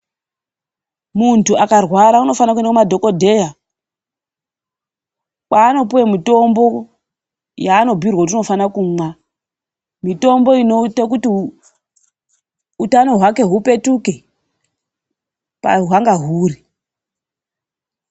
Muntu akarwara unofanira kuenda kumadhokodheya, kwaanopuwe mutombo yaanobhirwe kuti unofanira kumwa. Mitombo inoita kuti utano hwake hupetuke pahwanga huri.